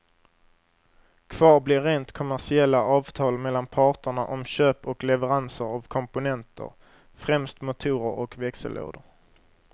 Kvar blir rent kommersiella avtal mellan parterna om köp och leveranser av komponenter, främst motorer och växellådor.